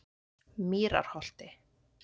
Mýrarholti